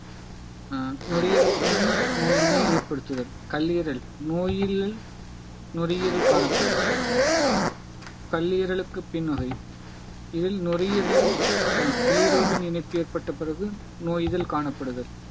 ஆஹ் நுரையீரலுக்கு முன் நோயினை ஏற்படுத்துதல் கல்லீரல் நோயில் நுரையீரல் காணப்படும் கல்லீரலுக்கு பின்னவை இதில் நுரையீரலையும் அந்த பிளிரோவின் இணைப்பு ஏற்பட்ட பிறகு நோய் இதழ் காணப்படுதல்